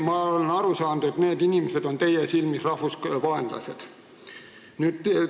Ma olen aru saanud, et need inimesed on teie silmis rahvusvaenlased.